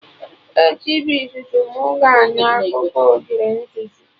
Echi bụ izizi mụ ga-anụ akụkọ ogre nzuzu